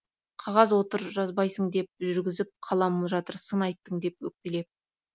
қағаз отыр жазбайсың деп жүргізіп қалам жатыр сын айттың деп өкпелеп